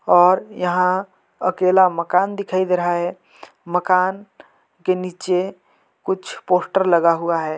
और यहाँ अकेला मकान दिखाई दे रहा है मकान के नीचे कुछ पोस्टर लगा हुआ है।